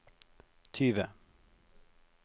tyve